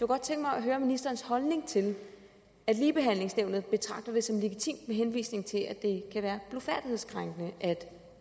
godt tænke mig at høre ministerens holdning til at ligebehandlingsnævnet betragter det som legitimt med henvisning til at det kan være blufærdighedskrænkende